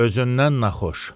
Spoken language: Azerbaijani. Özündən naxxoş.